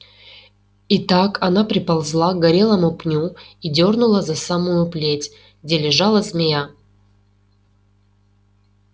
и так она приползла к горелому пню и дёрнула за самую плеть где лежала змея